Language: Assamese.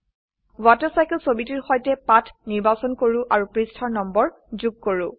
ৱাটাৰচাইকেল ছবিটিৰ সৈতে পাত নিৰ্বাচন কৰো আৰু পৃষ্ঠাৰ নম্বৰ যোগ কৰো